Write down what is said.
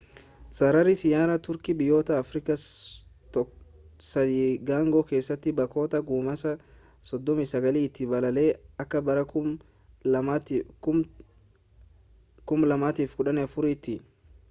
sararri xiyyaara turkii biyyoota afirikaa 30 keessatti bakkoota ga'umsaa 39 itti balali'a akka bara 2014tti